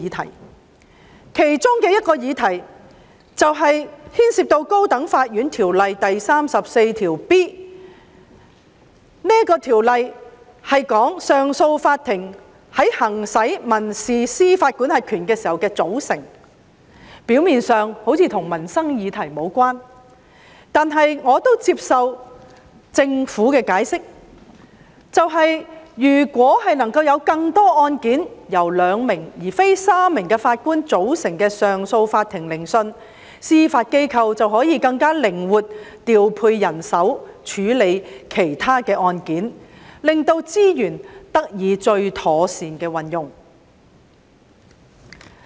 《條例草案》其中一個議題牽涉《高等法院條例》第 34B 條，旨在說明上訴法庭在行使民事司法管轄權時的組成，表面上似乎與民生議題無關，但我接受政府的解釋，即是如果能夠安排更多案件由兩名而非三名法官組成的上訴法庭進行聆訊，司法機構便可更靈活地調配人手處理其他案件，令資源得到最妥善的運用。